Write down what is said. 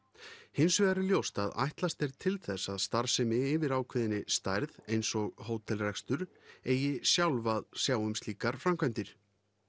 hins vegar er ljóst að ætlast er til þess að starfsemi yfir ákveðinni stærð eins og hótelrekstur eigi sjálf að sjá um slíkar framkvæmdir